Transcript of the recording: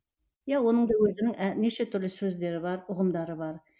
иә оның да өзінің ә неше түрлі сөздері бар ұғымдары бар